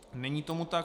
Není tomu tak.